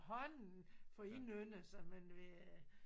Hånden for at indynde sig men ved øh